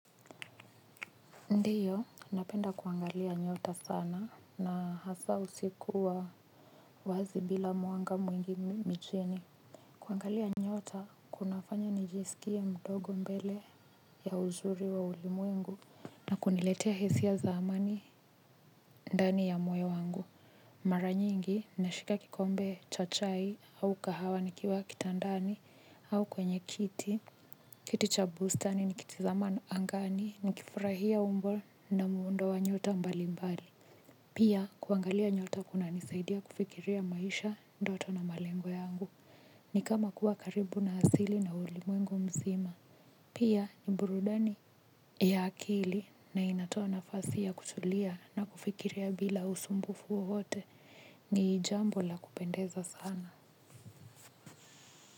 Ndiyo, napenda kuangalia nyota sana na hasa usiku wa wazi bila mwanga mwingi nchini. Kuangalia nyota, kunafanya nijisikie mdogo mbele ya uzuri wa ulimuengu. Na kuniletea hisia za amani ndani ya moyo wangu. Mara nyingi, nashika kikombe cha chai au kahawa nikiwa kitandani au kwenye kiti. Kiti cha bustani nikitizama angani nikifurahia umbo na muundo wa nyota mbalimbali. Pia kuangalia nyota kunanisaidia kufikiria maisha, ndoto na malengo yangu ni kama kuwa karibu na asili na ulimwengu mzima. Pia ni burudani ya akili na inatoa nafasi ya kutulia na kufikiria bila usumbufu wowpte. Ni jambo la kupendeza sana.